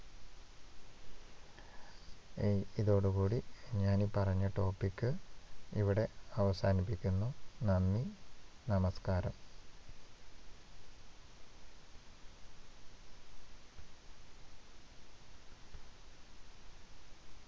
ഈ ഇതോടു കൂടി ഞാന്‍ ഈ പറഞ്ഞ topic ഇവിടെ അവസാനിപ്പിക്കുന്നു. നന്ദി, നമസ്കാരം.